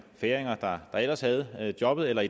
færinger der ellers havde jobbet eller